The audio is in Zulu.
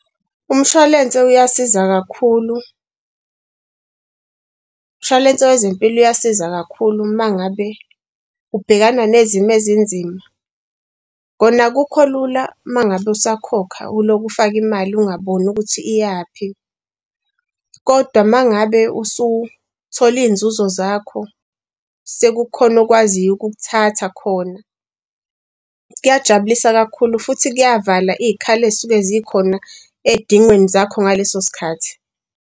Umshwalense uyasiza kakhulu. Umshwalense wezempilo uyasiza kakhulu uma ngabe ubhekana nezimo ezinzima. Kona akukho lula, uma ngabe usakhokha ulokhu ufaka imali ungaboni ukuthi iyaphi kodwa uma ngabe usuthole iy'nzuzo zakho, sekukhona okwaziyo ukukuthatha khona kuyajabulisa kakhulu futhi kuyavala iy'khala ey'suke zikhona ey'dingweni zakho ngaleso sikhathi.